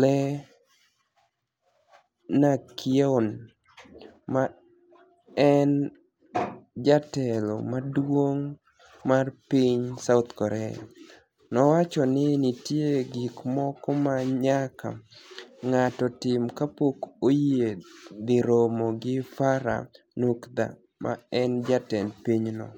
Lee niak-yeoni ma eni jatelo maduonig' mar piniy South Korea, nowacho nii niitie gik moko ma niyaka nig'ato tim kapok oyie dhi romo gi Farah niukdha ma eni jatend piny no.